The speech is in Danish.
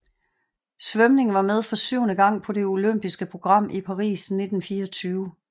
Svømning var med for syvende gang på det olympiske program i Paris 1924